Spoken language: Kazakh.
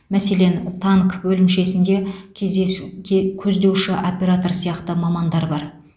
мәселен танк бөлімшесінде кездесуш ке көздеуші оператор сияқты мамандар бар